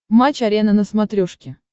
матч арена на смотрешке